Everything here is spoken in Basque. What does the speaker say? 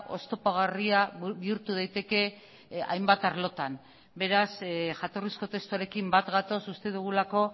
oztopagarria bihurtu daiteke hainbat arlotan beraz jatorrizko testuarekin bat gatoz uste dugulako